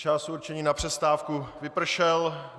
Čas určený na přestávku vypršel.